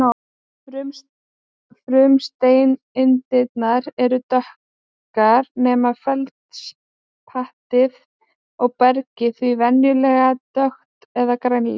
Frumsteindirnar eru dökkar nema feldspatið og bergið því venjulega dökkt eða grænleitt.